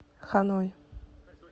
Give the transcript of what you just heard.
ханой